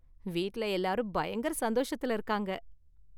வீட்ல எல்லாரும் பயங்கர சந்தோஷத்துல இருக்காங்க.